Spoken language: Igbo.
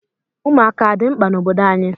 Ụmụaka adị mkpa n'obodo anyị?